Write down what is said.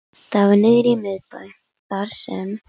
Það var niðri í miðbæ, þar sem